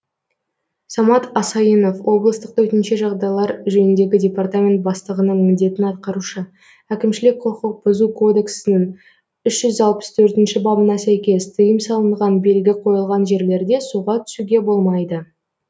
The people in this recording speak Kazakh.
самат асайынов облыстық төтенше жағдайлар жөніндегі департамент бастығының міндетін атқарушы әкімшілік құқық бұзу кодексінің үш жүз алпыс тқртінші бабына сәйкес тыйым салынған белгі қойылған жерлерде суға түсуге болмайды